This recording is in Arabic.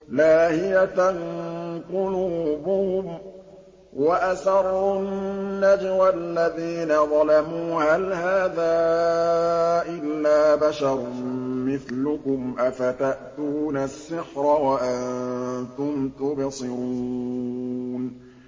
لَاهِيَةً قُلُوبُهُمْ ۗ وَأَسَرُّوا النَّجْوَى الَّذِينَ ظَلَمُوا هَلْ هَٰذَا إِلَّا بَشَرٌ مِّثْلُكُمْ ۖ أَفَتَأْتُونَ السِّحْرَ وَأَنتُمْ تُبْصِرُونَ